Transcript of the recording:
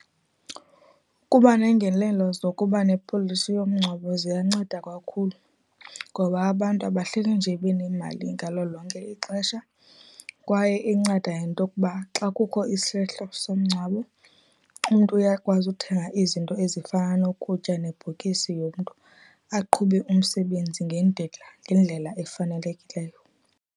Kuba neengenelelo zokuba nepolisi yomngcwabo ziyanceda kakhulu, ngoba abantu abahleli nje benemali ngalo lonke ixesha, kwaye inceda ngento kuba xa kukho isehlo somngcwabo, umntu uyakwazi uthenga izinto ezifana nokutya, nebhokisi yomntu, aqhube umsebenzi ngendlela efanelekileyo.